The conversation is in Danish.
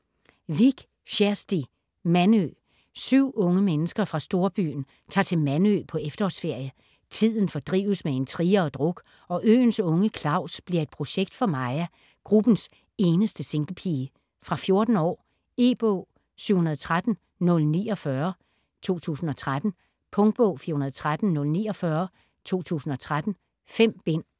Vik, Kjersti: Mandø 7 unge mennesker fra storbyen tager til Mandø på efterårsferie. Tiden fordrives med intriger og druk, og øens unge Claus bliver et projekt for Maja, gruppens eneste singlepige. Fra 14 år. E-bog 713049 2013. Punktbog 413049 2013. 5 bind.